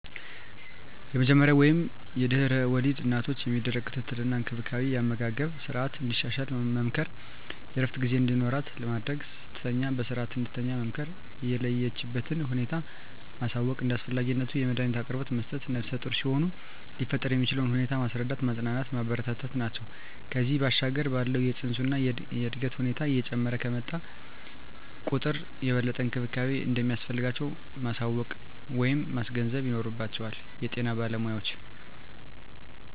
የመጀመሪያ ወይም ለድሕረ ወሊድ እናቶች የሚደረግ ክትትል እና እንክብካቤ የአመጋገብ ስረዓትን እንድታሻሽል መምከር፣ የእረፍት ጊዜ እንዲኖራት ማድረግ፣ ስትተኛ በስረዓት እንድትተኛ መምከር፣ የለችበትን ሁኔታ ማሳወቅ፣ እንደ አስፈላጊነቱ የመዳኒት አቅርቦት መስጠት፣ ነፍሰጡር ሲሆኑ ሊፈጠር የሚችለውን ሁኔታ ማስረዳት፣ ማፅናናት፣ ማበረታታት ናቸው። ከዚያ ባሻገር ባለው የፅንሱ የእድገት ሁኔታ እየጨመረ በመጣ ቁጥር የበለጠ እንክብካቤ እንደሚያስፈልጋቸው ማሳወቅ ወይም ማስገንዘብ ይኖርባቸዋል የጤና ባለሞያዎች።